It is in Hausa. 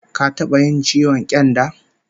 Ka taba yin ciwon ƙyanda?